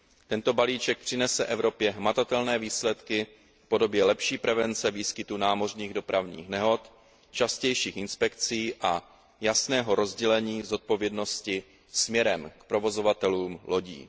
Tento balíček přinese Evropě hmatatelné výsledky v podobě lepší prevence výskytu námořních dopravních nehod, častějších inspekcí a jasného rozdělení zodpovědnosti směrem k provozovatelům lodí.